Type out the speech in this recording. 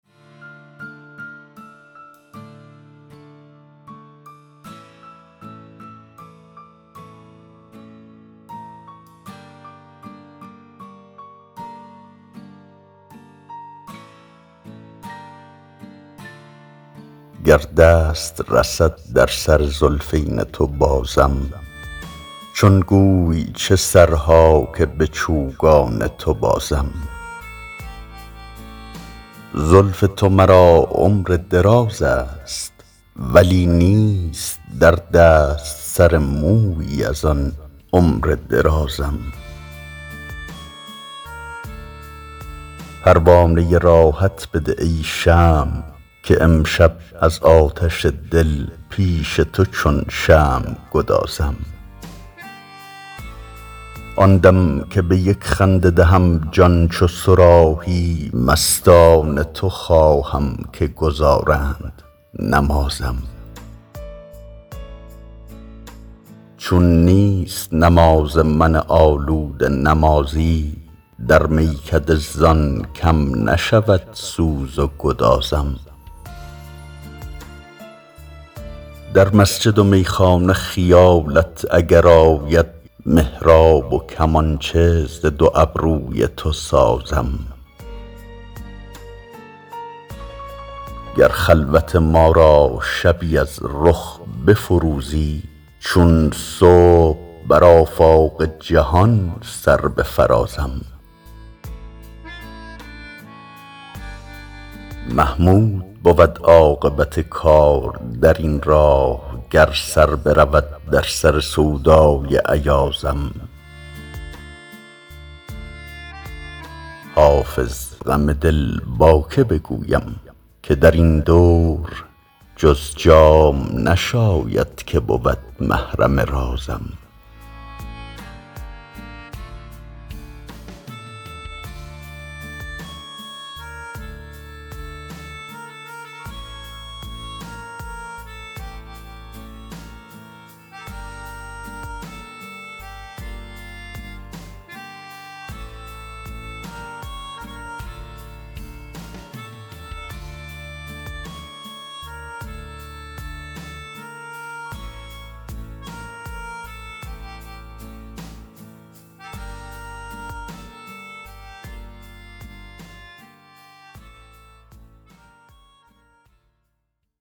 گر دست رسد در سر زلفین تو بازم چون گوی چه سرها که به چوگان تو بازم زلف تو مرا عمر دراز است ولی نیست در دست سر مویی از آن عمر درازم پروانه راحت بده ای شمع که امشب از آتش دل پیش تو چون شمع گدازم آن دم که به یک خنده دهم جان چو صراحی مستان تو خواهم که گزارند نمازم چون نیست نماز من آلوده نمازی در میکده زان کم نشود سوز و گدازم در مسجد و میخانه خیالت اگر آید محراب و کمانچه ز دو ابروی تو سازم گر خلوت ما را شبی از رخ بفروزی چون صبح بر آفاق جهان سر بفرازم محمود بود عاقبت کار در این راه گر سر برود در سر سودای ایازم حافظ غم دل با که بگویم که در این دور جز جام نشاید که بود محرم رازم